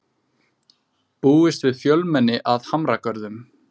Búist við fjölmenni að Hamragörðum